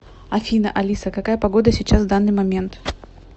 афина алиса какая погода сейчас в данный момент